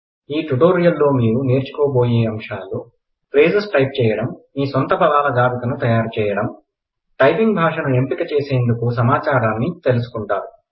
ఈ టుటోరియల్ లో మీరునేర్చుకోబోయే అంశాలు ఫ్రేజెస్ టైప్ చేయడం మీ సొంత పదాల జాబితాను తయారుచేయడం టైపింగ్ భాషను ఎంపిక చేసేందుకు సమాచారాన్ని తెలుసుకుంటారు